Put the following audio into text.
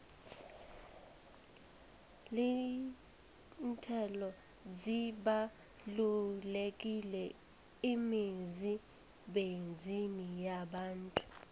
iinthelo zibalulekile emizimbeni yabantu